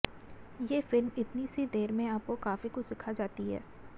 ये फिल्म इतनी सी देर में आपको काफी कुछ सिखा जाती है